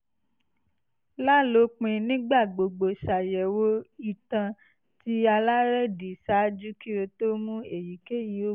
lalopin nigbagbogbo ṣayẹwo itan ti alerẹdi ṣaaju ki o to mu eyikeyi oogun